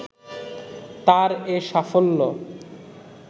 তার এ সাফল্য